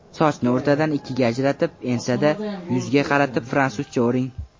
Sochni o‘rtadan ikkiga ajratib, ensadan yuzga qaratib fransuzcha o‘ring.